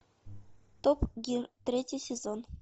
топ гир третий сезон